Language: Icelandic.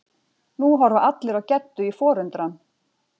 Nú horfa allir á Geddu í forundran.